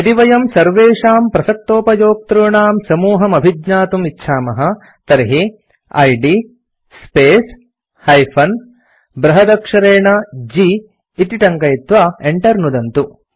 यदि वयं सर्वेषां प्रसक्तोपयोक्तॄणां समूहम् अभिज्ञातुम् इच्छामः तर्हि इद् स्पेस् - बृहदक्षरेणG इति टङ्कयित्वा enter नुदन्तु